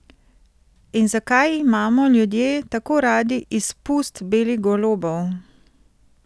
In zakaj imamo ljudje tako radi izpust belih golobov?